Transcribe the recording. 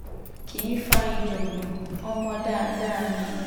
kì í fa ìjágbọ́n ọmọ dáadáa ni